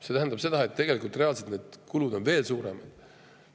See tähendab seda, et reaalselt on kulud veel suuremad.